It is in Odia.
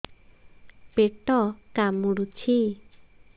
ପେଟ କାମୁଡୁଛି